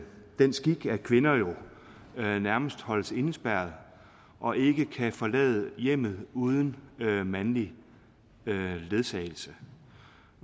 den skik at kvinder jo nærmest holdes indespærret og ikke kan forlade hjemmet uden mandlig ledsagelse